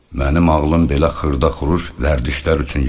Mənim ağlım belə xırda-xuruş vərdişlər üçün yaranmayıb.